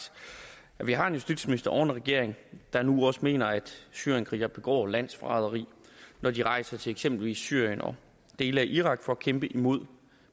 er at vi har en justitsminister og en regering der nu også mener at syrienskrigere begår landsforræderi når de rejser til eksempelvis syrien og dele af irak for at kæmpe imod